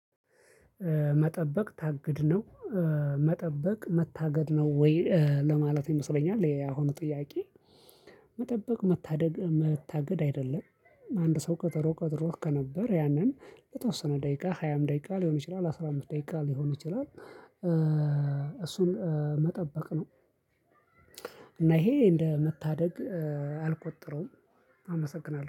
መጠበቅ ታግድ ነው መጠበቅ መታገድ ነው ወይ ለማለት ይመስለኛል ያሁኑ ጥያቄ? መጠበቅ መታደግ መታገድ አይደለም አንድ ሰው ቀጠሮ ቀጥሮህ ከነበር ያንን ለተወሰነ ደቂቃ ሃያም ደቂቃ ሊሆን ይችላል አስራ አምስት ደቂቃ ሊሆን ይችላል። እሱን መጠበቅ ነው። እና ይሄ እንደ መታደግ አልቆጥረውም። አመሰግናለሁ